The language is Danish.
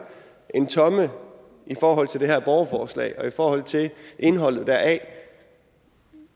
en tomme i forhold til det her borgerforslag og i forhold til indholdet deraf